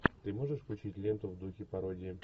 ты можешь включить ленту в духе пародии